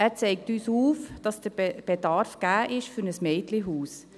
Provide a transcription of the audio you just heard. Er zeigt uns auf, dass der Bedarf für ein Mädchenhaus gegeben ist.